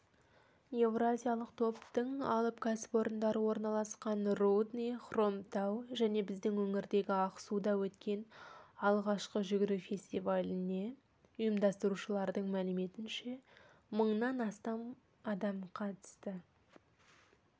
еуразиялық топтың алып кәсіпорындары орналасқан рудный хромтау және біздің өңірдегі ақсуда өткен алғашқы жүгіру фестиваліне ұйымдастырушылардың мәліметінше мыңнан астам адам қатысты